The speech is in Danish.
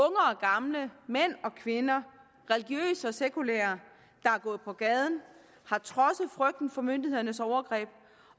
gamle mænd og kvinder religiøse og sekulære der er gået på gaden har trodset frygten for myndighedernes overgreb